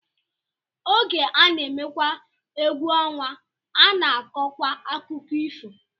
Oge a na-emekwa egwu ọnwa, a na-akọkwa akụkọ ifo